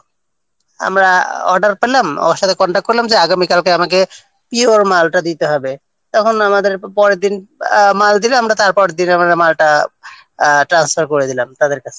আমরা অর্ডার পেলাম ওর সঙ্গে কনট্যাক্ট করলাম যে আগামিকালকে আমাকে পিওর মালটা দিতে হবে তখন আমাদের পরেরদিন মাল দিলাম আমরা তারপরের দিলাম আমরা মালটা ট্রান্সফার করে দিলাম তাদের কাছে